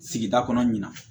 Sigida kɔnɔna ɲina